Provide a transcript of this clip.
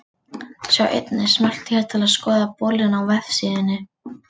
Sjá einnig: Smelltu hér til að skoða bolinn á vefsíðunni.